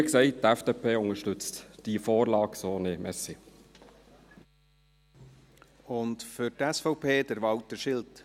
Wie gesagt, die FDP unterstützt diese Vorlage so nicht.